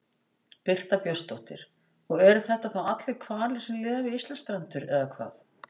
Birta Björnsdóttir: Og eru þetta þá allir hvalir sem lifa við Íslandsstrendur eða hvað?